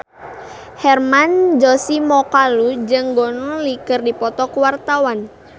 Hermann Josis Mokalu jeung Gong Li keur dipoto ku wartawan